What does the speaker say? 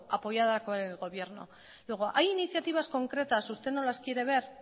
apoyada con el gobierno luego hay iniciativas concretas que si usted no las quiere ver